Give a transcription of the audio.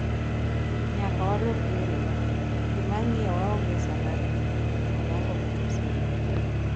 nyaka walok yorewa, jii mang'iyo waonge saa mar rito, Onyango omedo siro